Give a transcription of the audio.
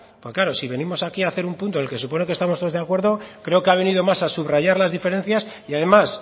porque claro si venimos aquí hacer un punto en el que se supone que estamos todos de acuerdo creo que ha venido más a subrayar las diferencias y además